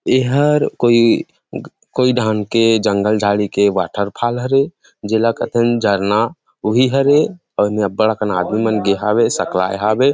इहर कोई कोई डाहन के जंगल झाड़ी के वॉटरफॉल हरे जेला कहथिन झरना उहि हरे और यहाँ बड़ आदमी मन गे हावे सकलाये हवे ।